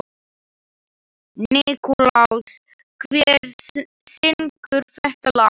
Nikulás, hver syngur þetta lag?